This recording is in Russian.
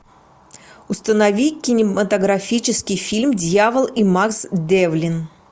установи кинематографический фильм дьявол и макс девлин